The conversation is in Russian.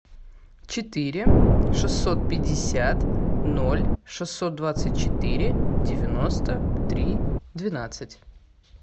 четыре шестьсот пятьдесят ноль шестьсот двадцать четыре девяносто три двенадцать